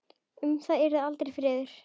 Um það yrði aldrei friður!